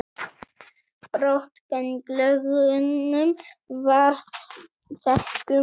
Brot gegn lögunum varða sektum